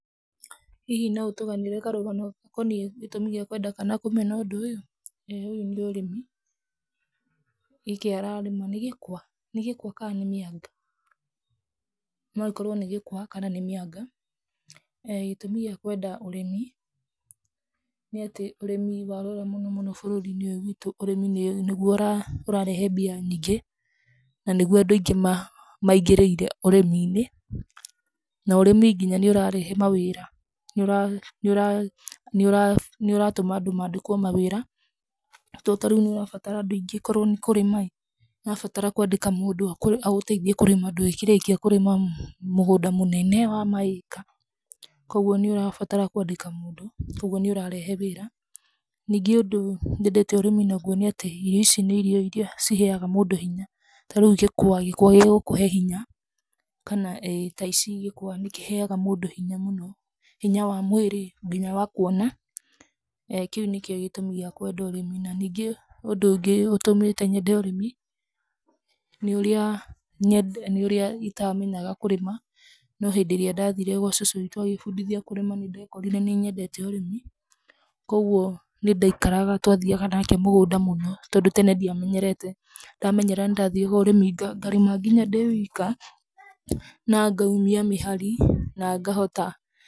Hihi no ũtũganĩre karũgano gakoniĩ gĩtũmi gĩa kwenda kana kũmena ũndũ ũyũ? ĩĩ ũyũ nĩ ũrĩmi, gĩkĩ ararĩma nĩ gĩkwa, nĩ gĩkwa kana nĩ mĩanga? No akorwo nĩ gĩkwa kana nĩ mĩanga. Gĩtũmi gĩa kwenda ũrĩmi nĩ atĩ ũrĩmi warora mũno mũno bũrũri-inĩ ũyũ witũ, ũrĩmi nĩguo ũrarehe mbia nyingĩ na nĩguo andũ aingĩ maingĩríĩre ũrĩmi-inĩ. Na ũrĩmi nginya nĩ ũrarehe mawĩra, nĩ ũratũma andũ maandĩkwo mawĩra to tarĩu nĩ ũrabatara andũ aingĩ, korwo nĩ kũrĩma ĩ, nĩ ũrabatara kũandĩka mũndũ agũteithie kũrĩma, ndũĩkĩrĩkia kũrĩma mũgũnda mũnene wa ma acre. Koguo nĩ ũrabatara kũandĩka mũndũ, koguo nĩ ũrarehe wĩra. Ningĩ ũndũ nyendete ũrĩmi naguo nĩ atĩ irio ici nĩ irio iria ciheaga mũndũ hinya, tarĩu gĩkwa. Gĩkwa gĩgũkũhe hinya, kana ĩĩ, ta ici gĩkwa nĩkĩheaga mũndũ hinya mũno, hinya wa mwĩrĩ nginya wa kuona. ĩĩ kĩu nĩkĩo gĩtũmi gĩa kwenda ũrĩmi na ningĩ ũndũ ũngĩ ũtũmĩte nyende ũrĩmi nĩ ũrĩa itamenyaga kũrĩma, no hĩndĩ ĩrĩa ndathire gwa cũcũ witũ agĩbundithia kũrĩma, nĩndekorire nĩnyendete ũrĩmi. Koguo nĩ ndaikaraga twathiaga nake mũgũnda mũno, tondũ tene ndiamenyerete, ndamenyera nĩndathiaga ũrĩmi ngarĩma nginya ndĩ wika na ngaumia mĩhari na ngahota.